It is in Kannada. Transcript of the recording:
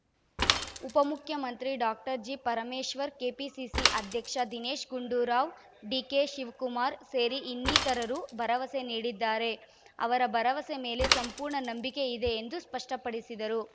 ಉಪಮುಖ್ಯಮಂತ್ರಿ ಡಾಕ್ಟರ್ ಜಿಪರಮೇಶ್ವರ್‌ ಕೆಪಿಸಿಸಿ ಅಧ್ಯಕ್ಷ ದಿನೇಶ್‌ ಗುಂಡೂರಾವ್‌ ಡಿಕೆಶಿವಕುಮಾರ್‌ ಸೇರಿ ಇನ್ನಿತರರು ಭರವಸೆ ನೀಡಿದ್ದಾರೆ ಅವರ ಭರವಸೆ ಮೇಲೆ ಸಂಪೂರ್ಣ ನಂಬಿಕೆ ಇದೆ ಎಂದು ಸ್ಪಷ್ಟಪಡಿಸಿದರು